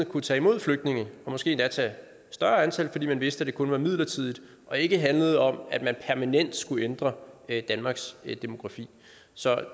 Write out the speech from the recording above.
kunne tage imod flygtninge og måske endda tage et større antal fordi man vidste at det kun var midlertidigt og ikke handlede om at man permanent skulle ændre danmarks demografi så